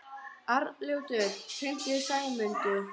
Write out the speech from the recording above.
Arnljótur, hringdu í Sæmundu.